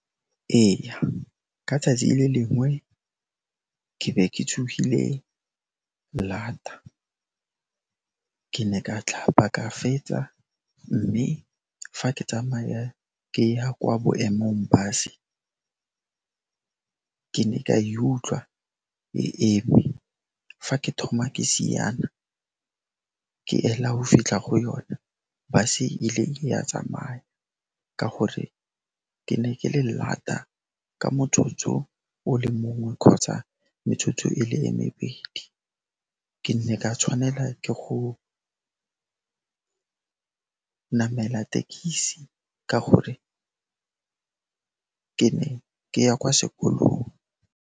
Eya, ka tsatsi le lengwe ke ke tsogile llata, ke ne ka tlhapa, ka fetsa, mme fa ke tsamaya ke ya kwa boemong-bus-e, ke ne ka e utlwa e eme. Fa ke thoma ke siana ke ela go fitlha go yona, bus-e ile ya tsamaya ka gore ke ne ke le llata ka motsotso o le mongwe kgotsa metsotso e le e mebedi. Ke ne ka tshwanela ke go namela tekisi ka gore ke ne ka ya kwa sekolong.